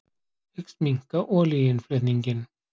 Hyggst minnka olíuinnflutning